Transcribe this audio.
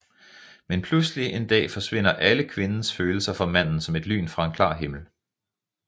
Men pludselig en dag forsvinder alle Kvindens følelser for Manden som et lyn fra en klar himmel